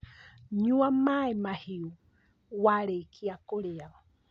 Nyua maĩ mahiũ warĩkia kũrĩa